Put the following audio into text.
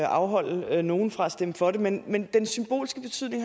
afholde nogen fra at stemme for det men den symbolske betydning